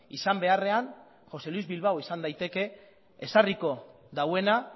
izan beharrean josé luis bilbao izan daiteke ezarriko duena